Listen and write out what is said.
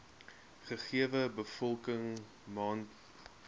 gegewe bevolking mondsiektes